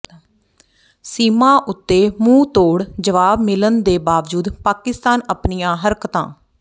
ਸੀਮਾ ਉਤੇ ਮੁੰਹਤੋੜ ਜਵਾਬ ਮਿਲਣ ਦੇ ਬਾਵਜੂਦ ਪਾਕਿਸਤਾਨ ਅਪਣੀਆਂ ਹਰਕਤਾਂ